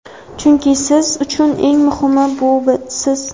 chunki siz uchun eng muhimi bu siz.